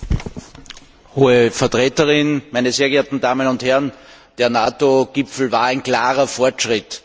Frau Präsidentin, Hohe Vertreterin, meine sehr geehrten Damen und Herren! Der NATO Gipfel war ein klarer Fortschritt.